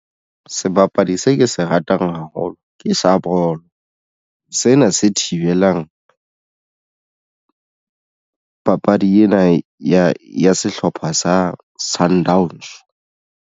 Sebapadi se ke se ratang haholo ke sa bolo sena se thibelang papadi ena ya sehlopha sa Sundowns.